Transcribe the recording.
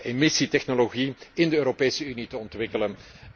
emissietechnologie in de Europese Unie te ontwikkelen.